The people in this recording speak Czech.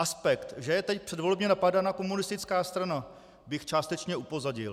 Aspekt, že je teď předvolebně napadána komunistická strana, bych částečně upozadil.